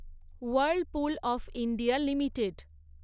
Whirlpool of India limited